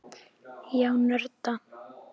Já, nörda.